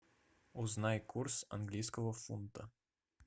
узнай курс английского фунта